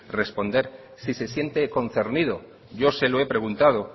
responder si se siente concernido yo se lo he preguntado